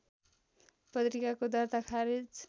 पत्रिकाको दर्ता खारेज